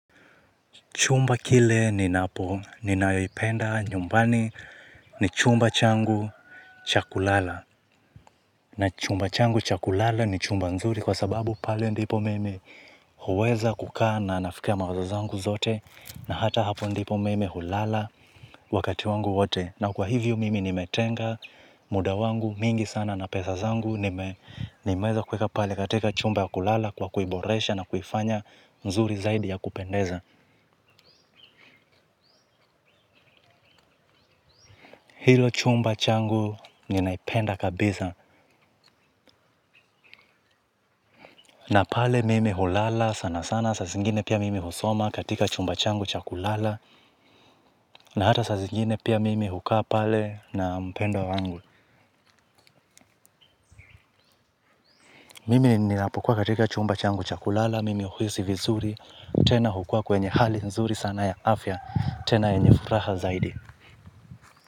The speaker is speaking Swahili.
Chumba kile ninapo ninayoipenda nyumbani ni chumba changu cha kulala. Na chumba changu cha kulala ni chumba nzuri kwa sababu pale ndipo mimi huweza kukaa na nafika mawazo zangu zote. Na hata hapo ndipo mimi hulala wakati wangu wote. Na kwa hivyo mimi nimetenga muda wangu mingi sana na pesa zangu nime nimeweza kuweka pale katika chumba ya kulala kwa kuiboresha na kuifanya nzuri zaidi ya kupendeza. Hilo chumba changu ninaipenda kabisa. Na pale mimi hulala sana sana saa zingine pia mimi husoma katika chumba changu cha kulala na hata saa zingine pia mimi hukaa pale na mpendwa wangu. Mimi ninapokua katika chumba changu cha kulala mimi huhisi vizuri tena hukua kwenye hali nzuri sana ya afya tena yenye furaha zaidi.